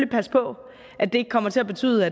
passe på at det ikke kommer til at betyde